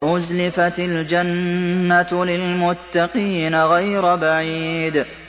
وَأُزْلِفَتِ الْجَنَّةُ لِلْمُتَّقِينَ غَيْرَ بَعِيدٍ